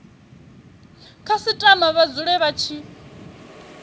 khasitama vha dzule vha tshi